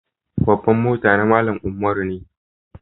Babbar motan na Mallam Umaru ne.